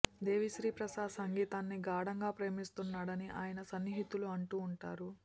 దేవిశ్రీ ప్రసాద్ సంగీతాన్ని ఘాడంగా ప్రేమిస్తున్నాడని అయన సన్నిహితులు అంటూ ఉంటారు